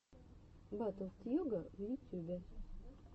батл тьюга в ютюбе